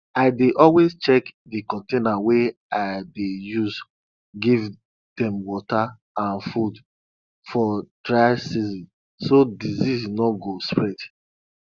i dey always check di container wey i dey use give dem water and food for dry season so disease no go spread